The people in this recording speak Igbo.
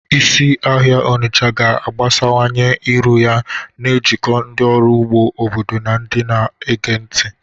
Isi ahịa Onitsha ga-agbasawanye iru ya, na-ejikọ ndị ọrụ ugbo obodo na ndị na-ege ntị.